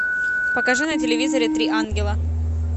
покажи на телевизоре три ангела